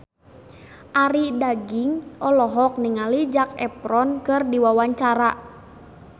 Arie Daginks olohok ningali Zac Efron keur diwawancara